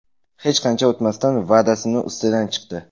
Hech qancha o‘tmasdan va’dasini ustidan chiqdi.